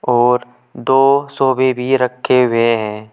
और दो सोफे भी रखे हुए हैं।